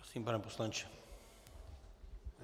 Prosím, pane poslanče.